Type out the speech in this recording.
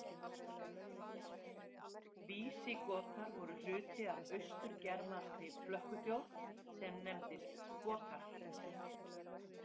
Vísigotar voru hluti af austur-germanskri flökkuþjóð sem nefndist Gotar.